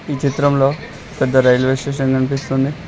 ఈ చిత్రంలో పెద్ద రైల్వే స్టేషన్ కనిపిస్తుంది.